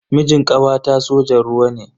Mijin kawata sojan ruwa ne.